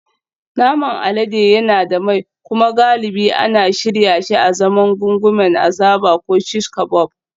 Naman alade yana da mai kuma galibi ana shirya shi azaman gungumen azaba ko shish kabob